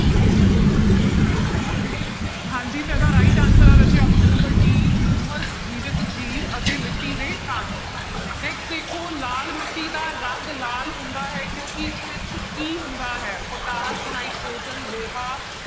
ਹਾਂਜੀ ਤਾਂ ਇਹਦਾ right answer ਹੈ ਰਾਜੇ option number d ਹਿਊਮਸ ਜੀਵਤ ਜੀਵ ਅਤੇ ਮਿੱਟੀ ਦੇ ਕਣ next ਦੇਖੋ ਲਾਲ ਮਿੱਟੀ ਦਾ ਰੰਗ ਲਾਲ ਹੁੰਦਾ ਹੈ ਕਿਉਂਕਿ ਇਸ ਵਿੱਚ ਕੀ ਹੁੰਦਾ ਹੈ ਪਟਾਸ, ਨਾਇਟ੍ਰੋਜਨ, ਲੋਹਾ